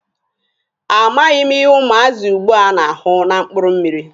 A maghị m ihe ụmụazị ugbua na-ahụ na mkpụrụ mmịrị.